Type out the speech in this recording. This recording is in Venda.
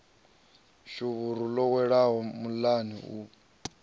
shuvhuru ḽo welaho muḽani u